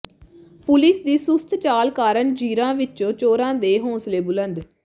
police ਦੀ ਸੁਸਤ ਚਾਲ ਕਾਰਨ ਜ਼ੀਰਾ ਵਿਚ ਚੋਰਾਂ ਦੇ ਹੌਸਲੇ ਬੁਲੰਦ